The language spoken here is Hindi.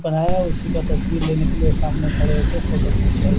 बनाया है सीधा तस्वीर लेने के लिए सामने खड़े होके फोटो खीचा है।